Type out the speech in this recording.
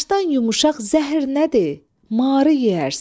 Başdan yumuşaq zəhər nədir, marı yeyərsən.